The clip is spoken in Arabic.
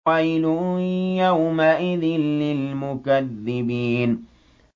وَيْلٌ يَوْمَئِذٍ لِّلْمُكَذِّبِينَ